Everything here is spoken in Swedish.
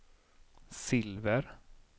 silver